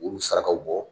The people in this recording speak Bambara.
Olu sarakaw bɔ